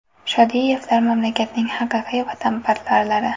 Shodiyevlar mamlakatning haqiqiy vatanparvarlari.